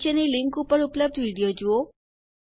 નીચેની લીંક ઉપર ઉપલબ્ધ વિડીઓ જુઓ